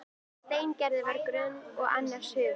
Steingerður var gröm og annars hugar.